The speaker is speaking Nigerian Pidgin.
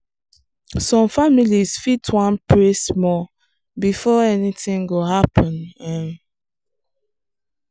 some families fit wan pray small before anything go happen. um